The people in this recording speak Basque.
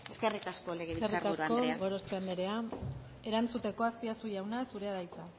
eskerrik asko legebiltzar buru andrea eskerrik asko gorospe anderea erantzuteko azpiazu jauna zurea da hitza